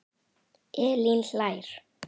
Elín hlær.